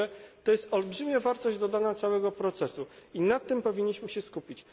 Tak że to jest olbrzymia wartość dodana całego procesu i na tym powinniśmy się skupić.